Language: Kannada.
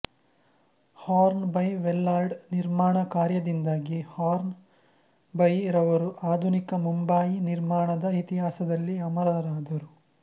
ಹಾರ್ನ್ ಬೈ ವೆಲ್ಲಾರ್ಡ್ ನಿರ್ಮಾಣ ಕಾರ್ಯದಿಂದಾಗಿ ಹಾರ್ನ್ ಬೈ ರವರು ಆಧುನಿಕ ಮುಂಬಯಿ ನಿರ್ಮಾಣ ದ ಇತಿಹಾಸದಲ್ಲಿ ಅಮರರಾದರು